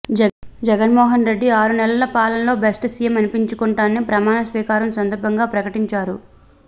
జగన్ మోహన్ రెడ్డి ఆరు నెలల పాలనలో బెస్ట్ సీఎం అనిపించుకుంటానని ప్రమాణస్వీకారం సందర్భంగా ప్రకటించారు